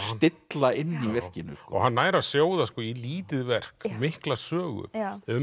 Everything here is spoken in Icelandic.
stilla inni í verkinu hann nær að sjóða í lítið verk mikla sögu um